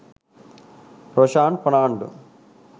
roshan fernando